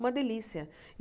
Uma delícia.